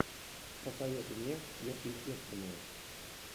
посоветуй мне сверхъестественное